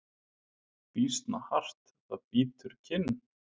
Býsna hart það bítur kinn.